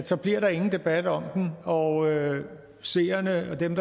så bliver der ingen debat om dem og seerne og dem